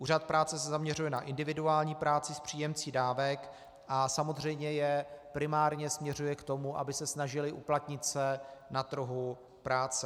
Úřad práce se zaměřuje na individuální práci s příjemci dávek a samozřejmě je primárně směřuje k tomu, aby se snažili uplatnit se na trhu práce.